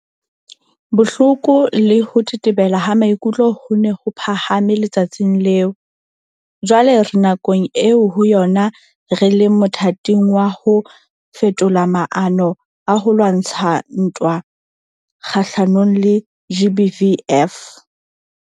Bohloko le ho tetebela ha maikutlo ho ne ho phahame le-tsatsing leo. Jwale re nakong eo ho yona re leng mothating wa ho fetola maano a ho lwantsha ntwa kga-hlanong le GBVF.